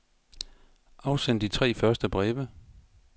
Afsend de tre første breve.